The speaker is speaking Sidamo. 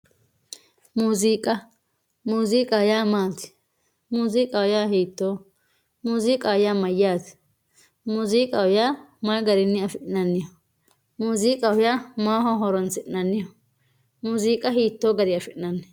Muuzziiqqa, muuzziiqqaho yaa maati, muuzziiqqaho yaa hiitoho, muuzziqqaho yaa mayate, muuzziqqaho yaa mayi garinni afinanniho, muuzziiqqaho yaa maaho horonsinanniho, muuzziiqqa hitoo gariyi afinayi